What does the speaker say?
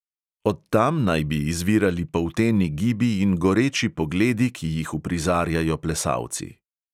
Od tam naj bi izvirali polteni gibi in goreči pogledi, ki jih uprizarjajo plesalci.